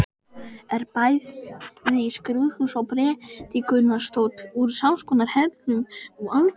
Er bæði skrúðhús og prédikunarstóll úr samskonar hellum og altarið.